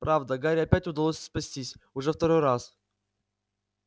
правда гарри опять удалось спастись уже второй раз